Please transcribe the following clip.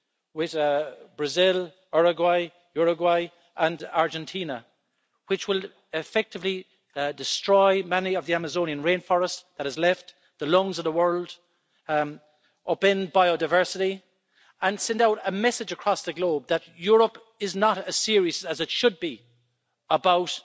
with Brazil, Uruguay and Argentina which will effectively destroy much of the Amazonian rainforest that is left the lungs of the world upend biodiversity and send out a message across the globe that Europe is not as serious as it should be about